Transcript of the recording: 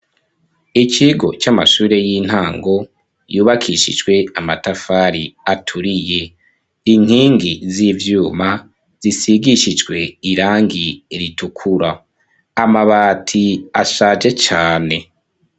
Ikigo c'amashure y'intango yubakishijwe amatafari aturiye inkingi z'ivyuma zisigishijwe irangi ritukura amabati ashaje cane.